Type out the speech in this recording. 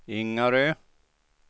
Ingarö